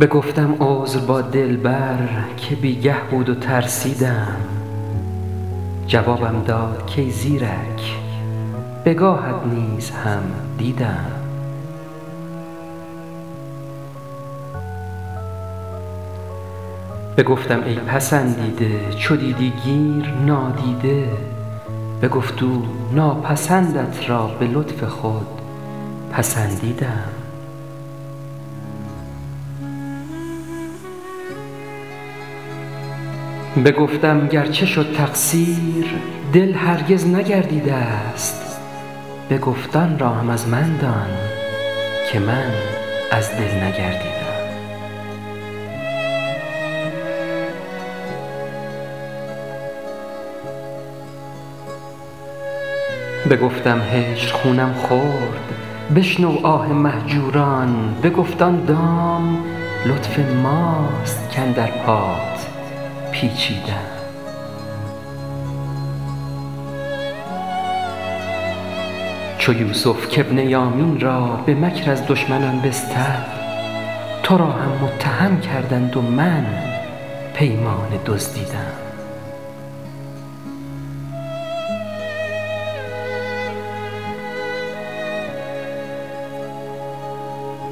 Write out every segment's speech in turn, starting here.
بگفتم عذر با دلبر که بی گه بود و ترسیدم جوابم داد کای زیرک بگاهت نیز هم دیدم بگفتم ای پسندیده چو دیدی گیر نادیده بگفت او ناپسندت را به لطف خود پسندیدم بگفتم گرچه شد تقصیر دل هرگز نگردیده ست بگفت آن را هم از من دان که من از دل نگردیدم بگفتم هجر خونم خورد بشنو آه مهجوران بگفت آن دام لطف ماست کاندر پات پیچیدم چو یوسف کابن یامین را به مکر از دشمنان بستد تو را هم متهم کردند و من پیمانه دزدیدم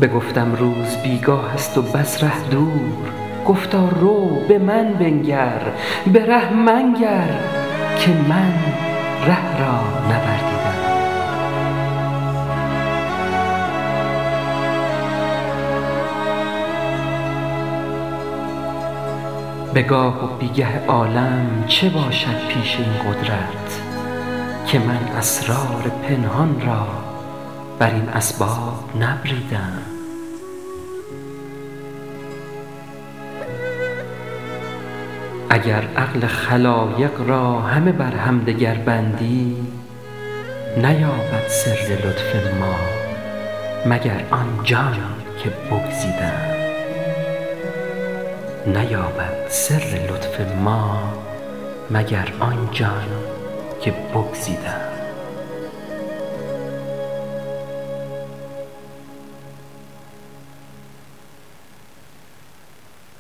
بگفتم روز بی گاه است و بس ره دور گفتا رو به من بنگر به ره منگر که من ره را نوردیدم به گاه و بی گه عالم چه باشد پیش این قدرت که من اسرار پنهان را بر این اسباب نبریدم اگر عقل خلایق را همه بر همدگر بندی نیابد سر لطف ما مگر آن جان که بگزیدم